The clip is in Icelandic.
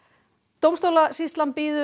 dómstólasýslan biður